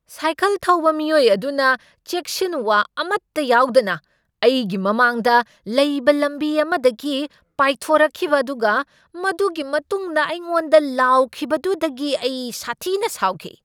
Cycle ꯊꯧꯕ ꯃꯤꯑꯣꯏ ꯑꯗꯨꯅ ꯆꯦꯛꯁꯤꯟꯋꯥ ꯑꯃꯠꯇ ꯌꯥꯎꯗꯅ ꯑꯩꯒꯤ ꯃꯃꯥꯡꯗ ꯂꯩꯕ ꯂꯝꯕꯤ ꯑꯃꯗꯒꯤ ꯄꯥꯏꯊꯣꯔꯛꯈꯤꯕ ꯑꯗꯨꯒ ꯃꯗꯨꯒꯤ ꯃꯇꯨꯡꯗ ꯑꯩꯉꯣꯟꯗ ꯂꯥꯎꯈꯤꯕꯗꯨꯗꯒꯤ ꯑꯩ ꯁꯥꯊꯤꯅ ꯁꯥꯎꯈꯤ꯫